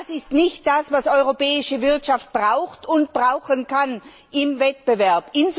Das ist nicht das, was die europäische Wirtschaft braucht und brauchen kann im Wettbewerb.